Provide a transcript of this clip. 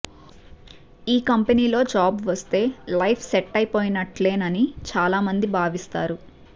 ఈ కంపెనీలో జాబ్ వస్తే లైప్ సెట్ అయిపోయినట్లేనని చాలామంది భావిస్తారు